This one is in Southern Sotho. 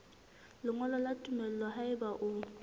lengolo la tumello haeba o